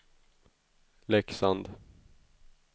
Leksand